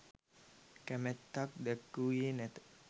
කැමැත්තක් දැක්වූයේ නැත